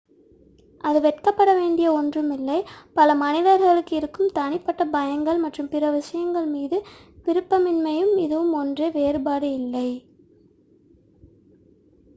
அது வெட்கப்பட வேண்டிய ஒன்று இல்லை பல மனிதர்களுக்கு இருக்கும் தனிப்பட்ட பயங்கள் மற்றும் பிற விஷயங்களின் மீது விருப்பமின்மையும் இதுவும் ஒன்றே வேறுபாடு இல்லை